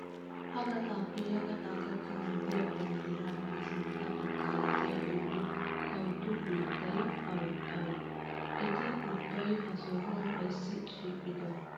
Ha gaxaappe ya gaxaa gakkanawu diyaa banddiraappe sintta baggaara diyaa oyiddu kawtu biittayi awee awee? Eti ubbayi ha sohaa ayssi shiiqidonaa?